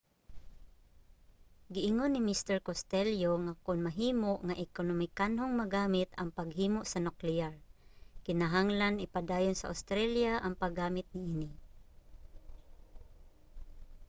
giingon ni mr costello nga kon mahimo nga ekonomikanhong magamit ang paghimo sa nukleyar kinahanglan ipadayon sa australia ang paggamit niini